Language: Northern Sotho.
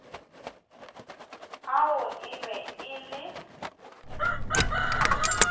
ao e be e le